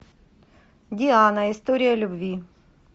диана история любви